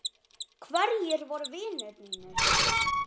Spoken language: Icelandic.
Hverjir voru vinir mínir?